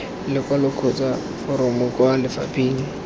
lekwalo kgotsa foromo kwa lefapheng